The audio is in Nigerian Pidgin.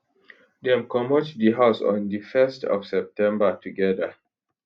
dem comot di house on di 1st of september togeda